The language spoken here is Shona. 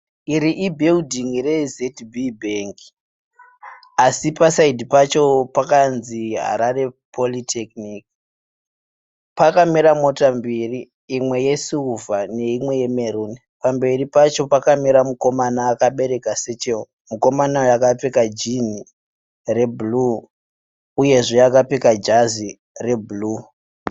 Iri ibuilding re ZB Bank . Asi paside pacho pakanzi Harare Polytechnic. Pakamira mota mbiri imwe yeSilver neimwe yeMaroon. Pamberi pacho pakamira mukomana akabereka sachel . Mukomana uyu akapfeka jean rebhuruu uyezve akapfeka jazi rebhuru.